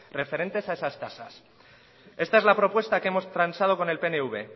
referentes a estas tasas esta es la propuesta que hemos transado con el pnv